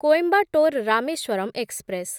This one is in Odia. କୋଇମ୍ବାଟୋର ରାମେଶ୍ୱରମ୍ ଏକ୍ସପ୍ରେସ୍